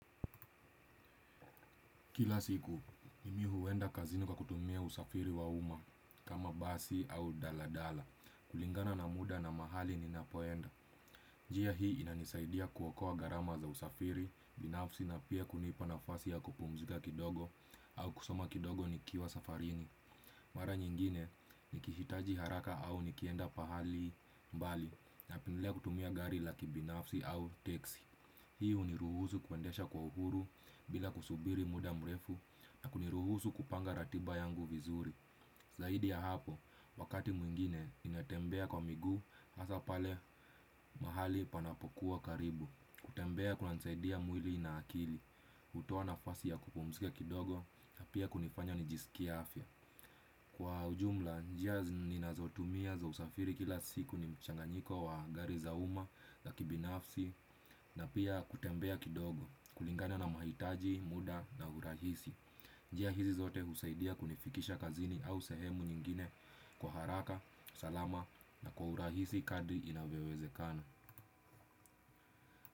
Kila siku, mimi huenda kazini kwa kutumia usafiri wa umma, kama basi au daladala, kulingana na muda na mahali ni napoenda. Jia hii inanisaidia kuokoa gharama za usafiri, binafsi na pia kunipa na fasi ya kupumzika kidogo au kusoma kidogo ni kiwa safarini. Mara nyingine ni kihitaji haraka au nikienda pahali mbali na pendelea kutumia gari laki binafsi au teksi. Hii huni ruhusu kwendesha kwa uhuru bila kusubiri muda mrefu na kuniruhusu kupanga ratiba yangu vizuri. Zaidi ya hapo wakati mwingine ninatembea kwa miguu hasapale mahali panapokuwa karibu. Kutembea kuna nisaidia mwili na akili kutoa na fasi ya kupumzika kidogo na pia kunifanya nijisikia afya. Kwa ujumla njia zinazotumia za usafiri kila siku ni mchanganyiko wa gari zauma za kibinafsi. Na pia kutembea kidogo kulingana na mahitaji, muda na urahisi. Njia hizi zote husaidia kunifikisha kazini au sehemu nyingine. Kwa haraka, salama na kwa urahisi kadri inavyoweze kana.